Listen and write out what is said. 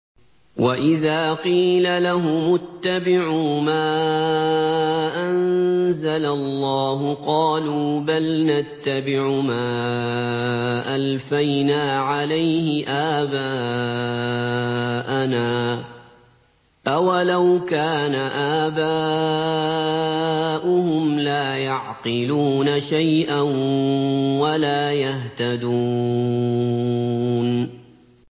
وَإِذَا قِيلَ لَهُمُ اتَّبِعُوا مَا أَنزَلَ اللَّهُ قَالُوا بَلْ نَتَّبِعُ مَا أَلْفَيْنَا عَلَيْهِ آبَاءَنَا ۗ أَوَلَوْ كَانَ آبَاؤُهُمْ لَا يَعْقِلُونَ شَيْئًا وَلَا يَهْتَدُونَ